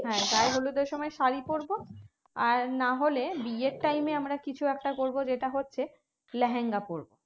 হ্যাঁ গায়ে হলুদের সময় শাড়ি পরবো আর না হলে বিয়ের time এ আমরা কিছু একটা পরবো যেটা হচ্ছে লেহেঙ্গা পরবো